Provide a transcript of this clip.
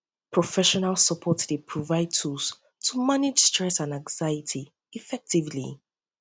professional support dey provide tools dey provide tools to manage stress and anxiety effectively